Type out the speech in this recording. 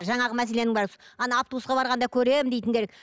жанағы мәселенің бәрі ана автобусқа барғанда көремін дейтіндер